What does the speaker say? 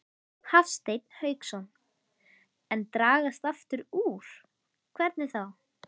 Hafsteinn Hauksson: En dragast aftur úr, hvernig þá?